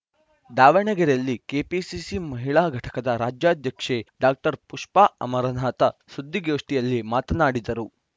ದಾವಣಗೆರೆಯಲ್ಲಿ ಕೆಪಿಸಿಸಿ ಮಹಿಳಾ ಘಟಕದ ರಾಜ್ಯಾಧ್ಯಕ್ಷೆ ಡಾಕ್ಟರ್ ಪುಷ್ಪಾ ಅಮರನಾಥ ಸುದ್ದಿಗೋಷ್ಠಿಯಲ್ಲಿ ಮಾತನಾಡಿದರು